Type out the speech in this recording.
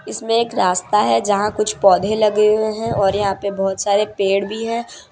इसमें एक रास्ता है जहाँ कुछ पौधे लगे हुए हैं और यहाँ पे बहोत सारे पेड़ भीं हैं।